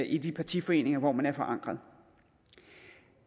i de partiforeninger hvor man er forankret